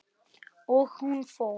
Og hún fór.